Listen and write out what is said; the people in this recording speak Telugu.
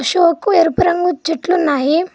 అచోకు ఎరుపు రంగు చెట్లు ఉన్నాయి.